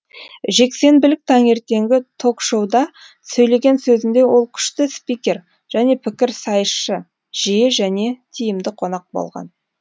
жексенбілік таңертеңгі ток шоуда сөйлеген сөзінде ол күшті спикер және пікірсайысшы жиі және тиімді қонақ болған